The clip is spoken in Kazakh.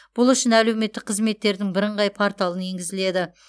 бұл үшін әлеуметтік қызметтердің бірыңғай порталын енгізіледі